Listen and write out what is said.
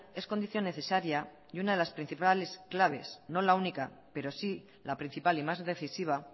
es condición necesariay una de las principales claves no la única pero sí la principal y más decisiva